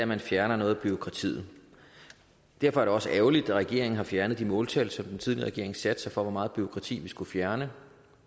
man fjerne noget af bureaukratiet derfor er det også ærgerligt at regeringen har fjernet de måltal som den tidligere regering satte for hvor meget bureaukrati vi skulle fjerne